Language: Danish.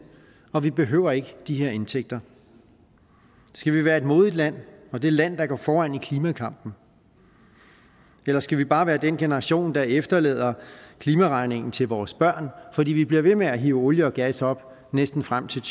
og vi behøver ikke de her indtægter skal vi være et modigt land og det land der går foran i klimakampen eller skal vi bare være den generation der efterlader klimaregningen til vores børn fordi vi bliver ved med at hive olie og gas op næsten frem til